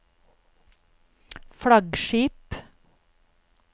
flaggskip